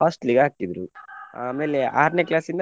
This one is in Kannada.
hostel ಗೆ ಹಾಕಿದ್ರು ಆಮೇಲೆ ಆರ್ನೆ class ಇಂದ.